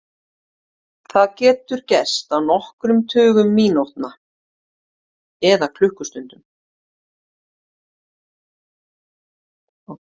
Það getur gerst á nokkrum tugum mínútna eða klukkustundum.